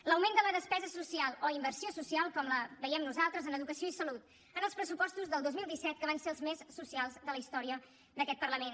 l’augment de la despesa social o inversió social com la veiem nosaltres en educació i salut en els pressupostos del dos mil disset que van ser els més socials de la història d’aquest parlament